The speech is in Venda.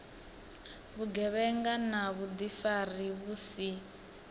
vhugevhenga na vhuḓifari vhu si